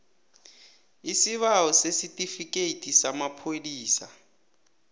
isibawo sesitifikhethi samapholisa